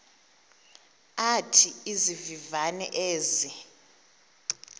athi izivivane ezi